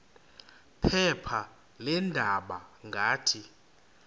phepha leendaba ngathi